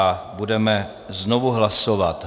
A budeme znovu hlasovat.